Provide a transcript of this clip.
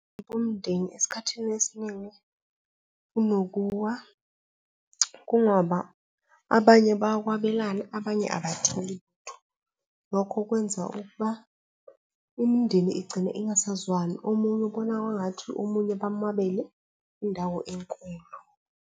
Abomndeni esikhathini esiningi kunokuwa kungoba abanye bayakwabelana abanye abatholi lutho. Lokho kwenza ukuba imindeni igcine ingasazwani, omunye ubona kwangathi omunye mamwabele indawo enkulu.